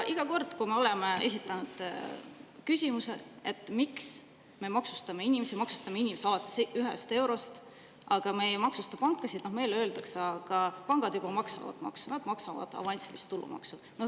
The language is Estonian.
Iga kord, kui me oleme esitanud küsimuse, miks me maksustame inimesi alates eurost, aga me ei maksusta pankasid, meile öeldakse: "Aga pangad juba maksavad maksu, nad maksavad avansilist tulumaksu.